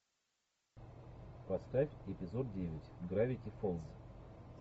поставь эпизод девять гравити фолз